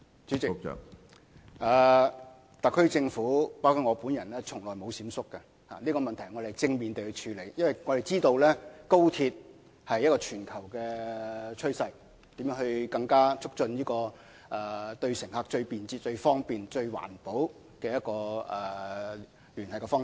主席，特區政府包括我本人從來都沒有閃縮，我們是正面地處理問題，因為我們知道高鐵是全球趨勢，為乘客提供更便捷、更方便、更環保的聯繫方式。